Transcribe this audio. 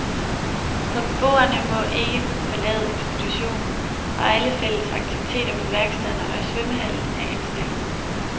For beboerne må ikke forlade institutionen, og alle fælles aktiviteter på værkstederne og i svømmehallen er indstillet.